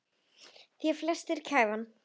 Í því felst gæfan.